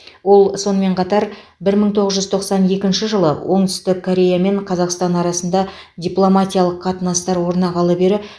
ол сонымен қатар бір мың тоғыз жүз тоқсан екінші жылы оңтүстік корея мен қазақстан арасында дипломатиялық қатынастар орнағалы бері